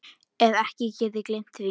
Hef ekki getað gleymt því.